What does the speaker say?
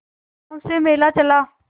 गांव से मेला चला